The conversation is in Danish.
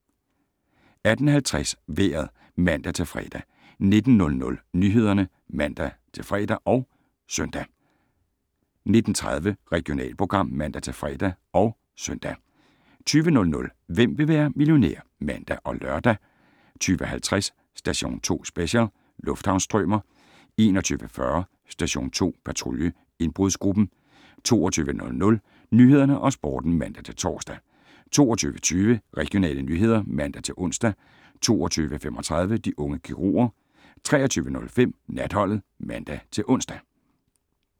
18:50: Vejret (man-fre) 19:00: Nyhederne (man-fre og -søn) 19:30: Regionalprogram (man-fre og -søn) 20:00: Hvem vil være millionær? (man og lør) 20:50: Station 2 Special: Lufthavnsstrømer 21:40: Station 2 Patrulje: Indbrudsgruppen 22:00: Nyhederne og Sporten (man-tor) 22:20: Regionale nyheder (man-ons) 22:35: De unge kirurger 23:05: Natholdet (man-ons)